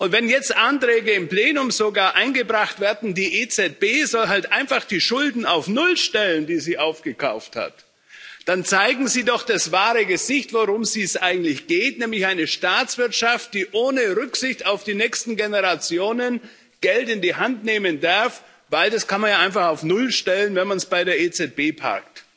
Wenn jetzt sogar Anträge im Plenum eingebracht werden, die EZB soll halt einfach die Schulden auf null stellen, die sie aufgekauft hat, dann zeigen sie doch das wahre Gesicht, worum es eigentlich geht, nämlich eine Staatswirtschaft, die ohne Rücksicht auf die nächsten Generationen Geld in die Hand nehmen darf, weil man das einfach auf null stellen kann, wenn man es bei der EZB parkt.